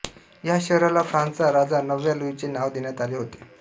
या शहराला फ्रांसचा राजा नवव्या लुईचे नाव देण्यात आले होते